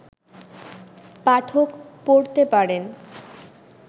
পাঠক পড়তে পারেন